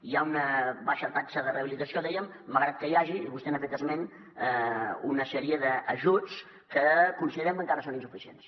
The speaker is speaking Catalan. hi ha una baixa taxa de rehabilitació dèiem malgrat que hi hagi i vostè n’ha fet esment una sèrie d’ajuts que considerem que encara són insuficients